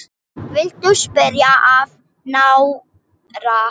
Viltu skýra það nánar?